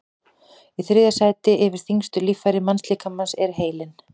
í þriðja sæti yfir þyngstu líffæri mannslíkamans er heilinn